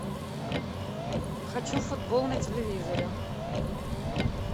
хочу футбол на телевизоре